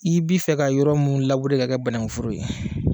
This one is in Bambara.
I b'i fɛ ka yɔrɔ mu labure k'a kɛ banan foro ye